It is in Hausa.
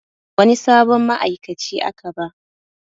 Wani sabon ma'aikaci aka ba